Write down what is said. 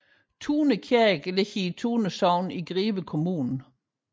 Tune Kirke ligger i Tune Sogn i Greve Kommune